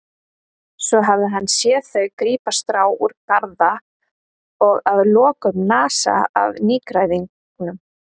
Svo hafði hann séð þau grípa strá úr garða og að lokum nasa af nýgræðingnum.